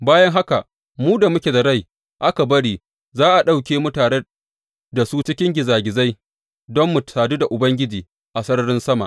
Bayan haka, mu da muke da rai da aka bari, za a ɗauke mu tare da su a cikin gizagizai don mu sadu da Ubangiji a sararin sama.